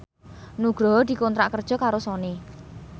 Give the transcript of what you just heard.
Nugroho dikontrak kerja karo Sony